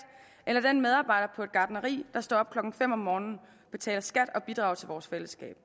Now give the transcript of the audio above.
eller den medarbejder på gartneri der står op klokken fem om morgenen betaler skat og bidrager til vores fællesskab